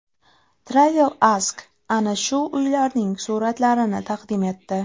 TravelAsk ana shu uylarning suratlarini taqdim etdi .